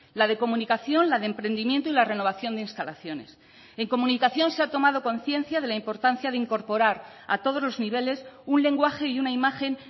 la de comunicación la de emprendimiento y la renovación de instalaciones en comunicación se ha tomado conciencia de la importancia de incorporar a todos los niveles un lenguaje y una imagen